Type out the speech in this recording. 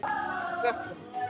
Klöppum